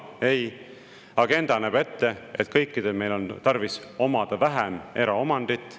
Ei, agenda näeb ette, et kõikidel meil on tarvis omada vähem eraomandit.